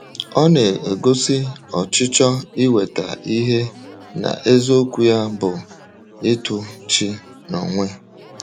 Ọ na-egosi ọchịchọ inweta ihe n’eziokwu ya bụ ịtụ chi n’onwe.